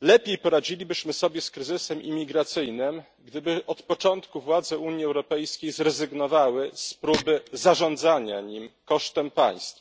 Lepiej poradzilibyśmy sobie z kryzysem imigracyjnym, gdyby od początku władze Unii Europejskiej zrezygnowały z próby zarządzania nim kosztem państw.